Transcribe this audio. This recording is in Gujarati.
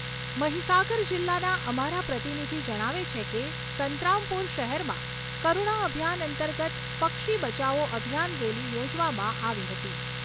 મહિસાગર જિલ્લાના અમારા પ્રતિનિધિ જણાવે છે કે સંતરામપુર શહેરમાં કરુણા અભિયાન અંતર્ગત પક્ષી બચાવો અભિયાન રેલી યોજવામાં આવી હતી.